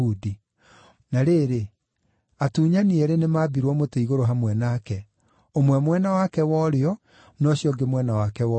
Na rĩrĩ, atunyani eerĩ nĩmambirwo mĩtĩ-igũrũ hamwe nake, ũmwe mwena wake wa ũrĩo, na ũcio ũngĩ mwena wake wa ũmotho.